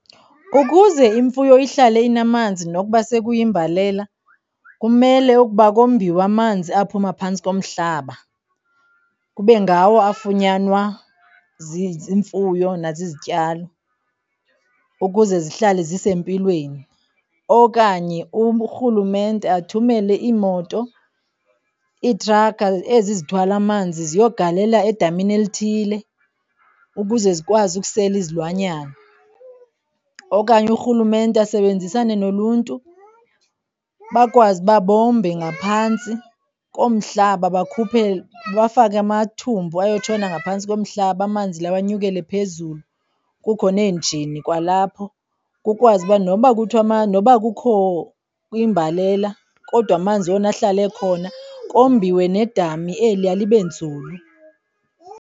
Ukuze imfuyo ihlale inamanzi nokuba sekuyimbalela kumele ukuba kombiwe amanzi aphuma phantsi komhlaba kube ngawo afunyanwa ziimfuyo nazi izityalo ukuze zihlale zisempilweni. Okanye urhulumente athumele imoto iitrakha ezi zithwala amanzi ziyogalela edamini elithile ukuze zikwazi ukusela izilwanyana. Okanye urhulumente asebenzisane noluntu, bakwazi uba bombe ngaphantsi komhlaba, bakhuphe, bafake amathumbu ayotshona ngaphantsi komhlaba amanzi lawo anyukele phezulu kukho nenjini kwalapho, kukwazi uba noba noba kukho imbalela kodwa amanzi wona ahlale ekhona, kombiwe nedami eliya libe nzulu.